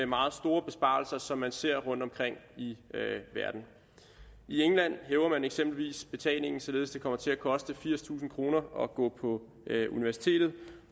meget store besparelser som man ser rundtomkring i verden i england hæver man eksempelvis betalingen således at det kommer til at koste firstusind kroner at gå på universitetet